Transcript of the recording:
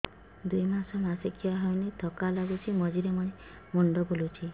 ଦୁଇ ମାସ ମାସିକିଆ ହେଇନି ଥକା ଲାଗୁଚି ମଝିରେ ମଝିରେ ମୁଣ୍ଡ ବୁଲୁଛି